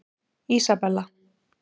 Ísabella